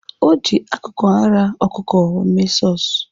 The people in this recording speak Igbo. Ọ ji akụkụ ara ọkụkụ mee sọs.